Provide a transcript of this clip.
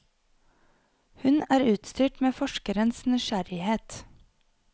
Hun er utstyrt med forskerens nysgjerrighet.